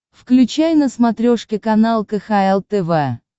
включай на смотрешке канал кхл тв